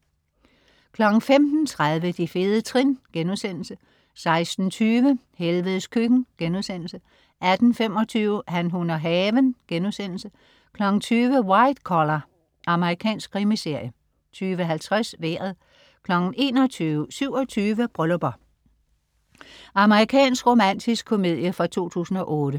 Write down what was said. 15.30 De fede trin* 16.20 Helvedes Køkken* 18.25 Han, hun og haven* 20.00 White Collar. Amerikansk krimiserie 20.50 Vejret 21.00 27 Bryllupper. Amerikansk romantisk komedie fra 2008